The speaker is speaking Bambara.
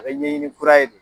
A be ɲɛɲini kura ye de